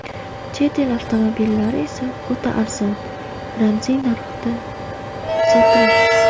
Chet el avtomobillari esa o‘ta arzon, ramziy narxda sotildi.